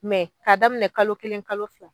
Mɛ k'a daminɛ kalo kelen kalo fila